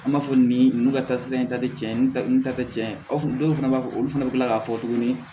An b'a fɔ nin ka taa sira in ta tɛ tiɲɛ ni ta tɛ tiɲɛ o dɔw fana b'a fɔ olu fana bɛ tila k'a fɔ tuguni